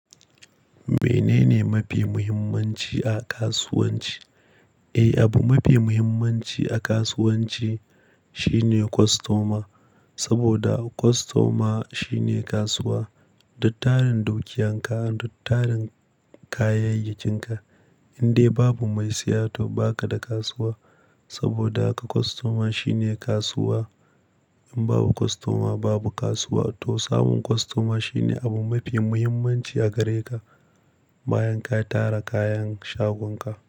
Menene mafi muhimmanci a kasuwanci? Eh, abu mafi muhimmanci a kasuwanci shine kostoma. Saboda kostoma shine kasuwa. Duk tarin dukiyanka duk tarin kayayyakin ka. Indai babu mai siya to ba ka da kasuwa. Saboda haka kostoma shine kasuwa. In babu kostoma babu kasuwa to samun kostoma shine abu mafi muhimmanci a gare ka bayan ka tara kayan shaganka.